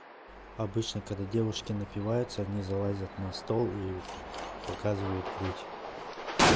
обычно когда девушки напиваются они залазят на стол и показывают грудь